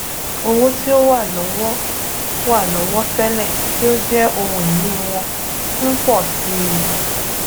owo ti o wa lọ́wọ́ wa lọ́wọ́ télè tí ó jẹ́ ohun ìní wọn n pọ̀ si i